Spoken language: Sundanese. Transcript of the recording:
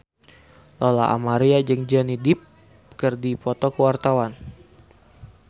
Lola Amaria jeung Johnny Depp keur dipoto ku wartawan